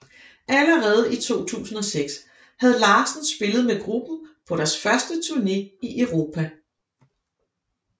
Allerede i 2006 havde Larsen spillet med gruppen på deres første turne i Europa